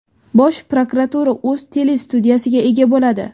Bosh prokuratura o‘z telestudiyasiga ega bo‘ladi.